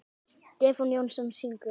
Stefán Jónsson syngur.